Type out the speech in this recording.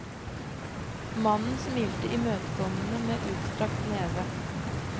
Mannen smilte imøtekommende med utstrakt neve.